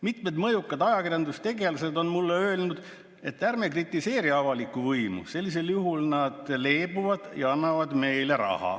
Mitmed mõjukad ajakirjandustegelased on mulle öelnud, et ärme kritiseeri avalikku võimu, sellisel juhul nad leebuvad ja annavad meile raha.